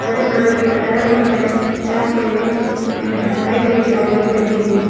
सड़क नजर ये आ रही है जहां पे ए हरि भरी झाड़ियां भी लगी हुई हैं।